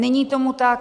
Není tomu tak.